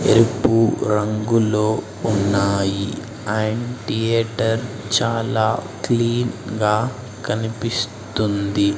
ఎర్పు రంగులో ఉన్నాయి and theatre చాలా క్లీన్ గా కనిపిస్తుంది.